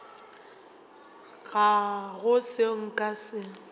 ga go seo nka se